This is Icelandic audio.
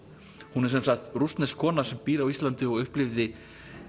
hún er sem sagt rússnesk kona sem býr á Íslandi og upplifði